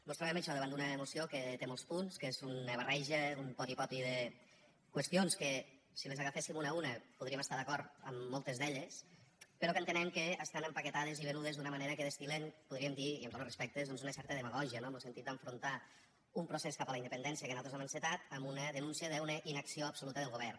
mos trobem això davant d’una moció que té molts punts que és una barreja un poti poti de qüestions que si les agaféssim una a una podríem estar d’acord amb moltes però que entenem que estan empaquetades i venudes d’una manera que destil·len podríem dir ne i amb tots los respectes una certa demagògia no en lo sentit d’enfrontar un procés cap a la independència que nosaltres hem encetat amb una denúncia d’una inacció absoluta del govern